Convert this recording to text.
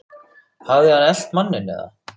Hafði hann elt manninn eða?